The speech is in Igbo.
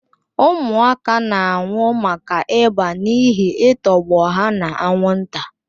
Ụmụaka na-anwụ maka ịba n'ihi I tọgbọ ha na-anwụnta.